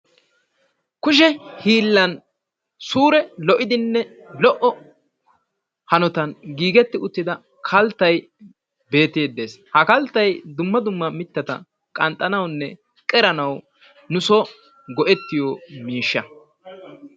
Kushe hiillan suure lo',iddinne lo"o hanotan giigetti uttida kalttay beettidi dees ha kalttay dumma dumma mitata qanxxanawunne qeranawu nu son go'ettiyo miishsha.